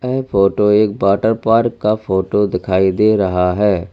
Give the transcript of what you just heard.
यह फोटो एक water park का फोटो दिखाई दे रहा है।